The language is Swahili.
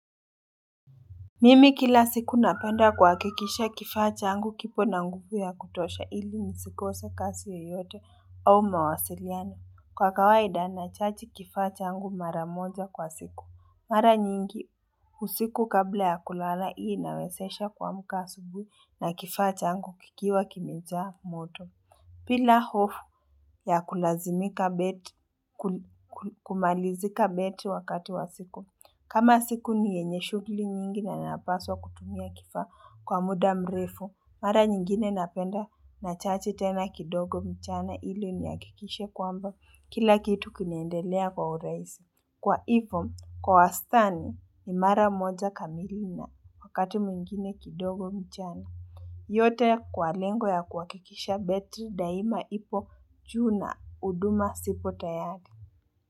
Mimi kila siku napenda kuhakikisha kifaa changu kipo na nguvu ya kutosha ili nisikose kazi yeyote au mawasiliano. Kwa kawaida nachaji kifaa changu mara moja kwa siku. Mara nyingi usiku kabla ya kulala hii inawezesha kuamka asubuhi na kifaa changu kikiwa kimejaa moto. Bila hofu ya kulazimika bet, kumalizika betri wakati wa siku. Kama siku ni yenye shughuli nyingi na napaswa kutumia kifaa kwa muda mrefu, mara nyingine napenda nachaji tena kidogo mchana ili nihakikishe kwamba kila kitu kinaendelea kwa urahisi. Kwa ivyo, kwa wastani ni mara moja kamili na wakati mwingine kidogo mchana. Yote kwa lengo ya kuhakikisha betri daima ipo juu na huduma zipo tayari.